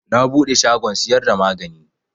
Na buɗe shagon siyar da magani